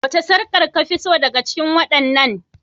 Wace sarƙar kafi so daga cikin waɗannan?